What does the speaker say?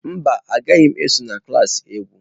Mba, agaghị m eso na klas egwu.